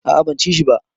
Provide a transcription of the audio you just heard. A a ban ci shi ba.